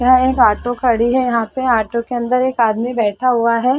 यहाँ एक ऑटो खड़ी है यहाँ पे ऑटो के अंदर एक आदमी बैठा हुआ है।